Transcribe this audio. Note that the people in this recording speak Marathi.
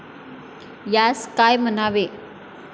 यांस काय म्हणावे?